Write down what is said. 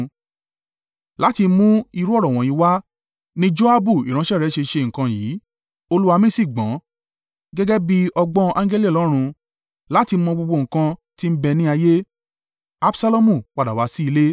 Láti mú irú ọ̀rọ̀ wọ̀nyí wá ni Joabu ìránṣẹ́ rẹ ṣe ṣe nǹkan yìí: olúwa mi sì gbọ́n, gẹ́gẹ́ bí ọgbọ́n angẹli Ọlọ́run, láti mọ gbogbo nǹkan tí ń bẹ̀ ní ayé.”